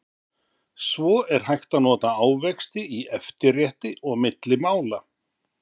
svo er hægt að nota ávexti í eftirrétti og milli mála